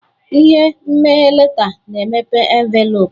Ihe mmeghe leta na-emepe envelopu.